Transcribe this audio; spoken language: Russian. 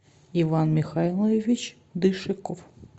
иван михайлович дышеков